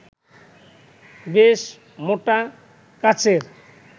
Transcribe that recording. বেশ মোটা কাচের